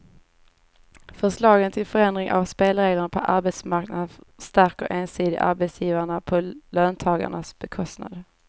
Förslagen till förändring av spelreglerna på arbetsmarknaden stärker ensidigt arbetsgivarna på löntagarnas bekostnad.